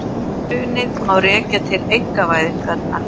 Hrunið má rekja til einkavæðingarinnar